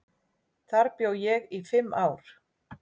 Þar bjó ég í fimm ár.